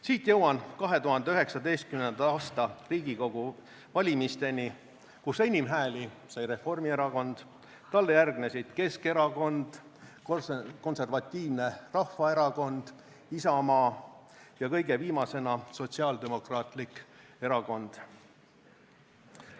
Siit jõuan 2019. aasta Riigikogu valimisteni, kus enim hääli sai Reformierakond, talle järgnesid Keskerakond, Konservatiivne Rahvaerakond, Isamaa ja kõige viimasena Sotsiaaldemokraatlik Erakond.